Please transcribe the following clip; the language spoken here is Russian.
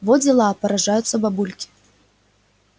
во дела поражаются бабульки